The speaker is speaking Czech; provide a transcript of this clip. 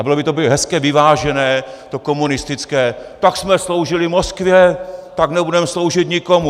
A bylo by to hezké, vyvážené to komunistické: Tak jsme sloužili Moskvě, tak nebudeme sloužit nikomu.